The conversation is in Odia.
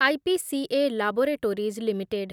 IPCA laboratories limited